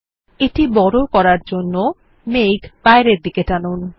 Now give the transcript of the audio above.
মেঘটি বড় করার জন্য তীর কে বাইরের দিকে টানুন